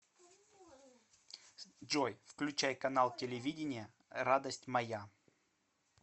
джой включай канал телевидения радость моя